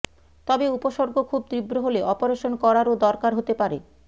তবে উপসর্গ খুব তীব্র হলে অপারেশন করারও দরকার হতে পারে